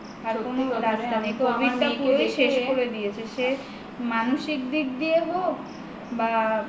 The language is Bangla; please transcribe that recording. শেষ করে দিয়েছে সে মানসিক দিক দিয়েই হোক বা